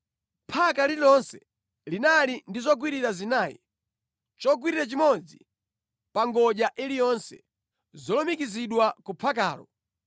Phaka lililonse linali ndi zogwirira zinayi; chogwirira chimodzi pa ngodya iliyonse, zolumikizidwa ku phakalo.